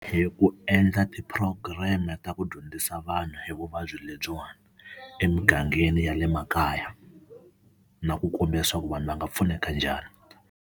Hi ku endla ti-program-i ta ku dyondzisa vanhu hi vuvabyi lebyiwani emugangeni ya le makaya, na ku komba leswaku vanhu va nga pfuneka njhani.